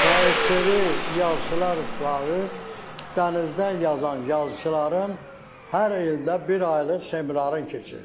SSRİ Yazıçılar itibarə dənizdən yazan yazıçıların hər ildə bir aylıq seminarın keçirir.